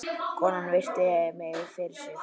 Konan virti mig fyrir sér.